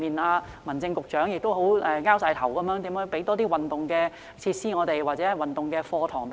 如何為有需要的兒童及家庭，提供更多運動設施或運動課堂？